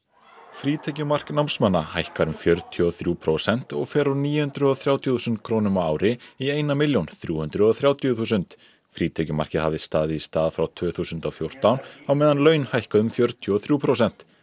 frítekjumark námsmanna hækkar um fjörutíu og þrjú prósent og fer úr níu hundruð og þrjátíu þúsund krónum á ári eina milljón og þrjú hundruð og þrjátíu þúsund frítekjumarkið hafði staðið í stað frá tvö þúsund og fjórtán á meðan laun hækkuðu um fjörutíu og þrjú prósent